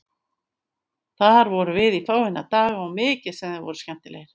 Þar vorum við í fáeina daga og mikið sem þeir voru skemmtilegir.